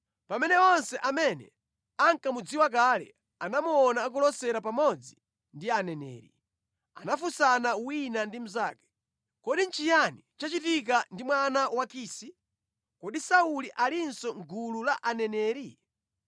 Pamene onse amene ankamudziwa kale anamuona akulosera pamodzi ndi aneneri, anafunsana wina ndi mnzake. “Kodi nʼchiyani chachitika ndi mwana wa Kisi? Kodi Sauli alinso mʼgulu la aneneri?”